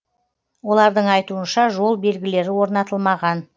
олардың айтуынша жол белгілері орнатылмаған